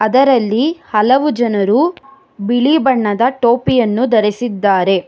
ಇದರಲ್ಲಿ ಹಲವು ಜನರು ಬಿಳಿ ಬಣ್ಣದ ಟೋಪಿಯನ್ನು ಧರಿಸಿದ್ದಾರೆ.